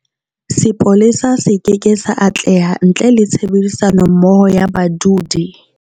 Sepolesa se keke sa atleha ntle le tshebedisanommoho ya badudi.